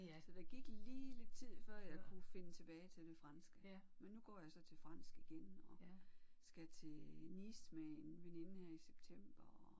Så der gik lige lidt tid før jeg kunne finde tilbage til det franske men nu går jeg så til fransk igen og skal til Nice med en veninde her i september og